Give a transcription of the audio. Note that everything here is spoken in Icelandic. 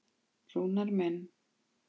Rúnar minn.